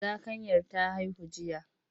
Zakanyar ta haihu jiya.